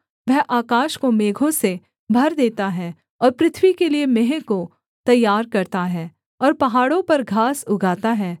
वह आकाश को मेघों से भर देता है और पृथ्वी के लिये मेंह को तैयार करता है और पहाड़ों पर घास उगाता है